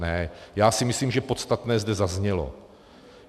Ne, já si myslím, že podstatné zde zaznělo.